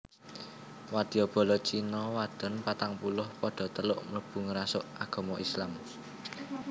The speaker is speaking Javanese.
Wadya bala China wadon patangpuluh padha teluk mlebu ngrasuk agama Islam